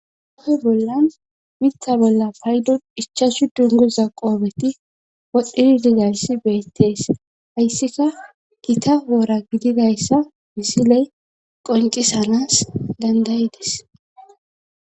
hofe bollan mitha bolla paydo dichasu dungoza qoobeti wodhdhidi digaysi beettees hayssika kita woora gididayssa misile qonqisanas dandayides